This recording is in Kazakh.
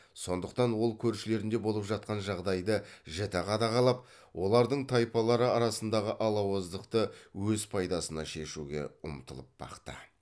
сондықтан ол көршілерінде болып жатқан жағдайды жіті қадағалап олардың тайпалары арасындағы алауыздықты өз пайдасына шешуге ұмтылып бақты